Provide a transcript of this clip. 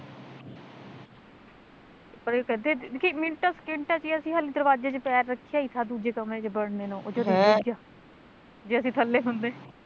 ਪਰ ਉਹ ਕਹਿੰਦੇ ਮਿੰਟਾਂ ਸਕਿੰਟਾਂ ਚ ਈ ਅਸੀਂ ਹਲੇ ਦਰਬਾਜ਼ੇ ਚੋ ਪੈਰ ਰੱਖਿਆ ਈ ਥਾ ਦੂਜੇ ਕਮਰੇ ਚ ਵੜਨੇ ਨੂੰ ਉਹ ਜਦੇ ਈ ਡਿੱਗ ਗਿਆ ਜੇ ਅਸੀਂ ਥੱਲੇ ਹੁੰਦੇ